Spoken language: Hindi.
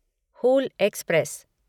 हूल एक्सप्रेस